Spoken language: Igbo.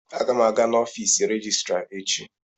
Aga m aga n'ọfiisi rejistra echi.